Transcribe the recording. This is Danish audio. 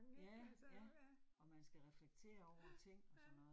Ja, ja. Og man skal reflektere over ting og sådan noget